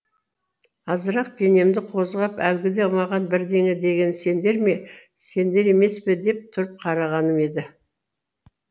азырақ денемді қозғап әлгіде маған бірдеңе деген сендер ме сендер емес пе деп тұрып қарағаным еді